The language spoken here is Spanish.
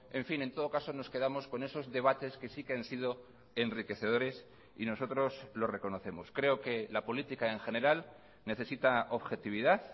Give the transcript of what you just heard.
en fin en todo caso nos quedamos con esos debates que sí que han sido enriquecedores y nosotros lo reconocemos creo que la política en general necesita objetividad